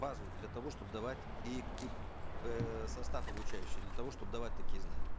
базу для того чтобы давать и и э состав обучающих для того чтобы давать такие знания